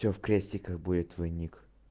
всё в крестиках будет твой ник